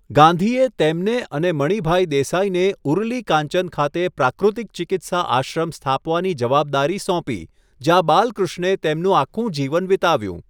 ગાંધીએ તેમને અને મણિભાઈ દેસાઈને ઉરલી કાંચન ખાતે પ્રાકૃતિક ચિકિત્સા આશ્રમ સ્થાપવાની જવાબદારી સોંપી, જ્યાં બાલકૃષ્ણે તેમનું આખું જીવન વિતાવ્યું.